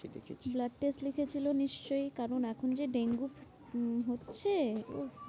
দেখিয়েছি দেখিয়েছি। blood test লিখেছিলো নিশ্চই কারণ এখন যে ডেঙ্গু উম হচ্ছে উফ।